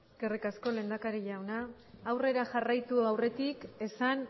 eskerrik asko lehendakari jauna aurrera jarraitu aurretik esan